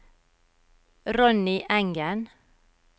Ronny Engen